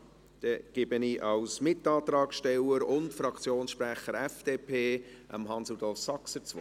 – Gut, dann hat Grossrat Saxer als Mitantragssteller und Fraktionssprecher der FDP das Wort.